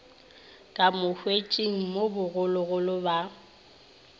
ka motswetšing mo bogologolo ba